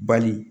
Bali